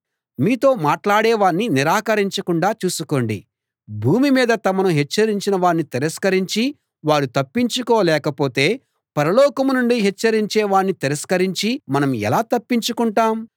మీతో మాట్లాడే వాణ్ణి నిరాకరించకుండా చూసుకోండి భూమి మీద తమను హెచ్చరించిన వాణ్ణి తిరస్కరించి వారు తప్పించుకోలేకపోతే పరలోకం నుండి హెచ్చరించేవాణ్ణి తిరస్కరించి మనం ఎలా తప్పించుకుంటాం